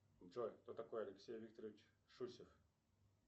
джой кто такой алексей викторович шусев